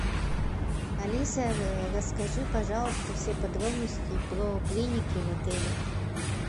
алиса расскажи пожалуйста все подробности про клиники в отеле